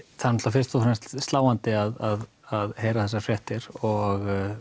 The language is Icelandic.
fyrst og fremst er sláandi að að heyra þessar fréttir og